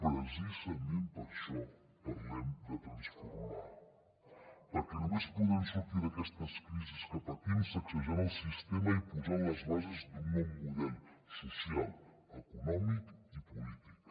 precisament per això parlem de transformar perquè només podem sortir d’aquestes crisis que patim sacsejant el sistema i posant les bases d’un nou model social econòmic i polític